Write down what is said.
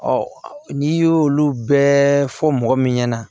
n'i y'olu bɛɛ fɔ mɔgɔ min ɲɛna